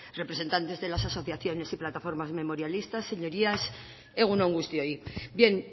representes de las asociaciones y plataformas memorialistas señorías egun on guztioi bien